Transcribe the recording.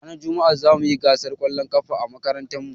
Ranar juma'a zamuyi gasar ƙwallon ƙafa a makarantar mu